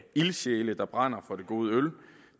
ildsjæle der brænder for det gode øl